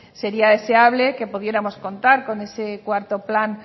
sería deseable que pudiéramos contar con ese cuarto plan